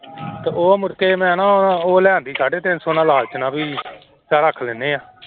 ਤੇ ਉਹ ਮੁੜਕੇ ਮੈਂ ਨਾ ਉਹ ਲੈ ਆਉਂਦੀ ਸਾਢੇ ਤਿੰਨ ਸੌ ਨਾਲ ਲਾਲਚ ਵੀ ਚੱਲ ਰੱਖ ਲੈਂਦੇ ਹਾਂ।